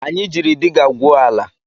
Anyị jiiri diga gwuo ala